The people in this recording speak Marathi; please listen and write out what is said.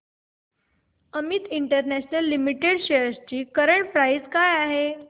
अमित इंटरनॅशनल लिमिटेड शेअर्स ची करंट प्राइस काय आहे